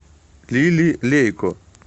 лили лейко